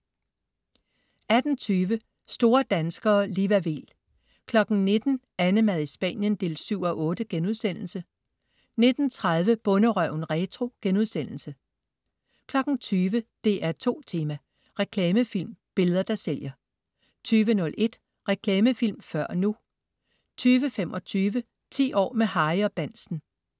18.20 Store danskere. Liva Weel 19.00 AnneMad i Spanien 7:8* 19.30 Bonderøven retro* 20.00 DR2 Tema: Reklamefilm. Billeder der sælger 20.01 Reklamefilm, før og nu 20.25 10 år med Harry og Bahnsen